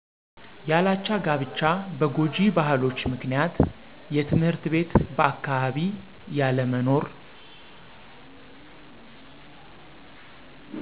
ያላቻ ጋብቻ በጎጅ ባህሎች ምክንያት የትምህርትቤት በአካባቢ ያለመኖር